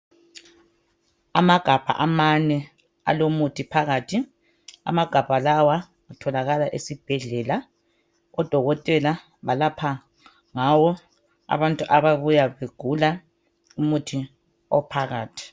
Amagabha amane alomuthi phakathi, amagabha lawa atholakala esibhedlela odokotela balapha ngawo abantu ababuya begula, umuthi ophakathi.